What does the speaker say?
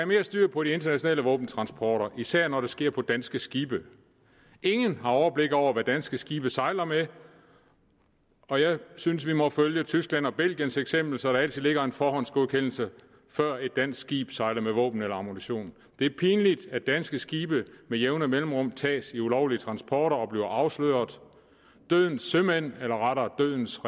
mere styr på de internationale våbentransporter især når det sker på danske skibe ingen har overblik over hvad danske skibe sejler med og jeg synes vi må følge tysklands og belgiens eksempel så der altid ligger en forhåndsgodkendelse før et dansk skib sejler med våben eller ammunition det er pinligt at danske skibe med jævne mellemrum tages i ulovlige transporter og bliver afsløret dødens sømænd eller rettere dødens